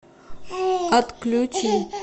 отключить